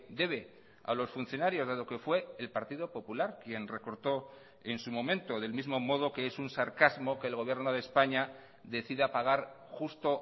debe a los funcionarios dado que fue el partido popular quien recortó en su momento del mismo modo que es un sarcasmo que el gobierno de españa decida pagar justo